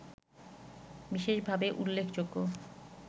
বিশেষভাবে উল্লেখযোগ্য